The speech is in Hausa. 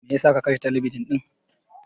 Me yasa ka kashe talabijin ɗin?